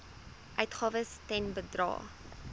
uitgawes ten bedrae